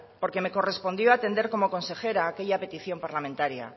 porque me correspondió atender como consejera aquella petición parlamentaria